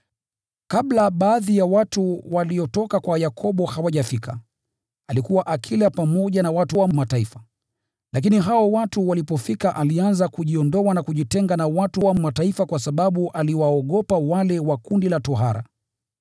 Kabla baadhi ya watu waliotoka kwa Yakobo hawajafika, alikuwa akila pamoja na watu wa Mataifa. Lakini hao watu walipofika alianza kujiondoa na kujitenga na watu wa Mataifa kwa sababu aliwaogopa wale wa kundi la tohara.